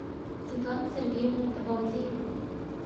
светлана сергеевна табалдиева